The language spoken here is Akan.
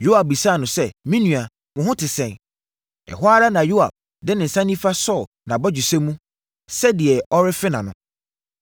Yoab bisaa no sɛ, “Me nua, wo ho te sɛn?” Ɛhɔ ara na Yoab de ne nsa nifa sɔɔ nʼabɔgyesɛ mu, sɛ deɛ ɔrefe nʼano.